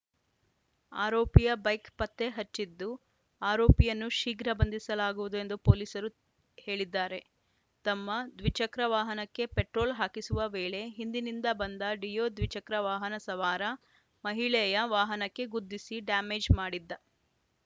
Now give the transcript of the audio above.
ಆರೋಪಿಯ ಬೈಕ್‌ ಪತ್ತೆ ಹಚ್ಚಿದ್ದು ಆರೋಪಿಯನ್ನು ಶೀಘ್ರ ಬಂಧಿಸಲಾಗುವುದು ಎಂದು ಪೊಲೀಸರು ಹೇಳಿದ್ದಾರೆ ತಮ್ಮ ದ್ವಿಚಕ್ರ ವಾಹನಕ್ಕೆ ಪೆಟ್ರೋಲ್‌ ಹಾಕಿಸುವ ವೇಳೆ ಹಿಂದಿನಿಂದ ಬಂದ ಡಿಯೋ ದ್ವಿಚಕ್ರ ವಾಹನ ಸವಾರ ಮಹಿಳೆಯ ವಾಹನಕ್ಕೆ ಗುದ್ದಿಸಿ ಡ್ಯಾಮೇಜ್‌ ಮಾಡಿದ್ದ